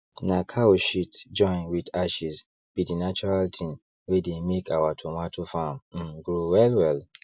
na cow shit join with ashes be the natural thing wey dey make our tomato farm um grow well well